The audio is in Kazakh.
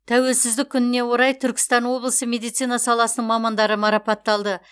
тәуелсіздік күніне орай түркістан облысы медицина саласының мамандары марапатталды